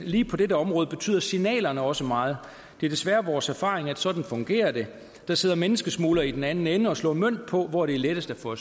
lige på dette område betyder signalerne også meget det er desværre vores erfaring at sådan fungerer det der sidder menneskesmuglere i den anden ende og slår mønt på hvor det er lettest at få